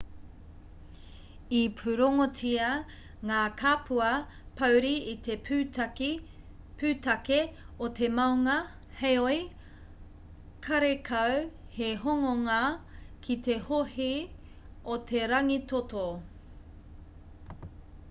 i pūrongotia ngā kapua pōuri i te pūtake o te maunga heoi karekau he hononga ki te hohe o te rangitoto